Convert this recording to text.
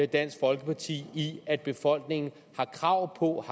dansk folkeparti i at befolkningen har krav på